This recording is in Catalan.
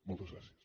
moltes gràcies